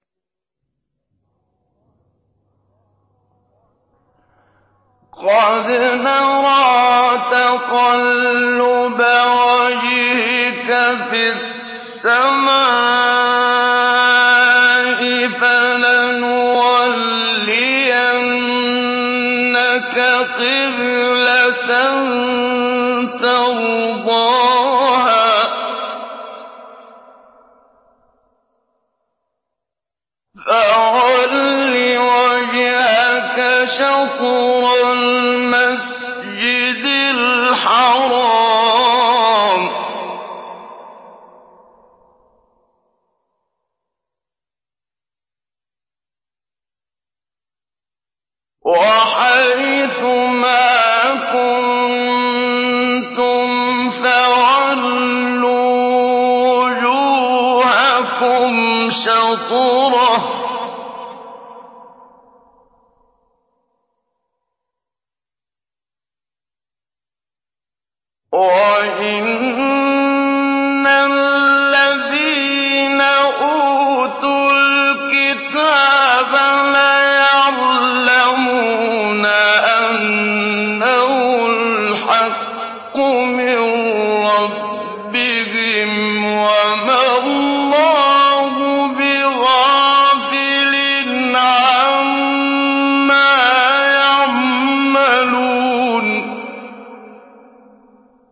قَدْ نَرَىٰ تَقَلُّبَ وَجْهِكَ فِي السَّمَاءِ ۖ فَلَنُوَلِّيَنَّكَ قِبْلَةً تَرْضَاهَا ۚ فَوَلِّ وَجْهَكَ شَطْرَ الْمَسْجِدِ الْحَرَامِ ۚ وَحَيْثُ مَا كُنتُمْ فَوَلُّوا وُجُوهَكُمْ شَطْرَهُ ۗ وَإِنَّ الَّذِينَ أُوتُوا الْكِتَابَ لَيَعْلَمُونَ أَنَّهُ الْحَقُّ مِن رَّبِّهِمْ ۗ وَمَا اللَّهُ بِغَافِلٍ عَمَّا يَعْمَلُونَ